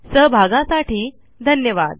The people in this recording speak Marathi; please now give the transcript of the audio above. सहभागासाठी धन्यवाद